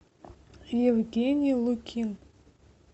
евгений лукин